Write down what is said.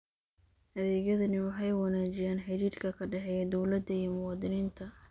Adeegyadani waxay wanaajiyaan xidhiidhka ka dhexeeya dawladda iyo muwaadiniinta.